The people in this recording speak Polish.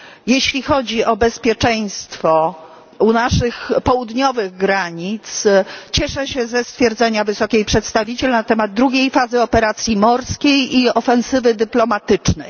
Jeśli chodzi o bezpieczeństwo u naszych południowych granic cieszę się ze stwierdzenia Wysokiej Przedstawiciel na temat drugiej fazy operacji morskiej i ofensywy dyplomatycznej.